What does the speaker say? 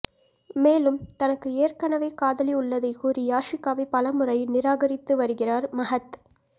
மேலும் தனக்கு எற்கனவே காதலி உள்ளதை கூறி யாஷிகாவை பலமுறை நிராகரித்து வருகிறார் மஹத்